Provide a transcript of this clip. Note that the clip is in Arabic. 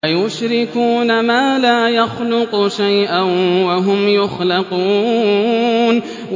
أَيُشْرِكُونَ مَا لَا يَخْلُقُ شَيْئًا وَهُمْ يُخْلَقُونَ